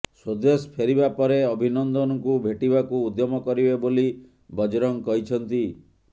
ସ୍ବଦେଶ ଫେରିବାପରେ ଅଭିନନ୍ଦନଙ୍କୁ ଭେଟିବାକୁ ଉଦ୍ୟମ କରିବେ ବୋଲି ବଜରଙ୍ଗ କହିଛନ୍ତି